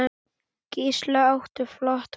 Gísli átti flott mót.